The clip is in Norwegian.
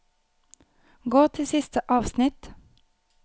Gå til siste avsnitt